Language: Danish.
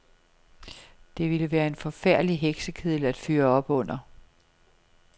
Det ville være en forfærdelig heksekedel at fyre op under.